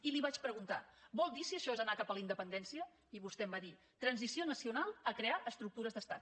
i li vaig preguntar vol dir si això és anar cap a la independència i vostè em va dir transició nacional a crear estructures d’estat